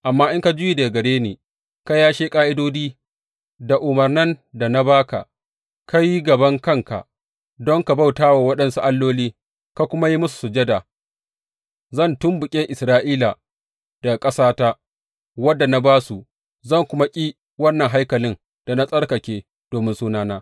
Amma in ka juya daga gare ni ka yashe ƙa’idodi da umarnan da na ba ka, ka yi gaban kanka don ka bauta wa waɗansu alloli ka kuma yi musu sujada, zan tumɓuke Isra’ila daga ƙasata, wadda na ba su, zan kuma ƙi wannan haikalin da na tsarkake domin Sunana.